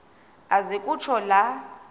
aze kutsho la